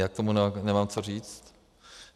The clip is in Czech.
Já k tomu nemám co říct.